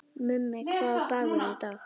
Mummi, hvaða dagur er í dag?